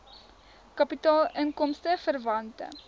kapitaal inkomste verwante